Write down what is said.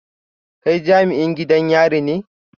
Kai jami'in gidan yari ne?